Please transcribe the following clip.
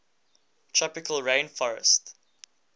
tropical rain forestt